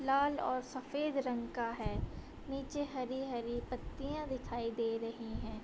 लाल और सफ़ेद रंग का है | नीचे हरी-हरी पत्तियां दिखाई दे रही हैं |